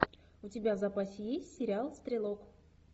у тебя в запасе есть сериал стрелок